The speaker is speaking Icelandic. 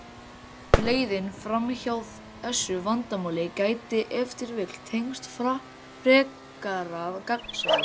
Leiðin fram hjá þessu vandamáli gæti ef til vill tengst frekara gagnsæi.